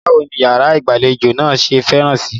Báwo ní ìyàrá ìgbàlejò náà ṣe fẹ̀ síí?